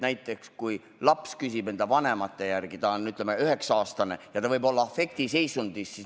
Näiteks kui laps küsib enda vanemate järele, ta on 9-aastane ja ta võib olla afektiseisundis.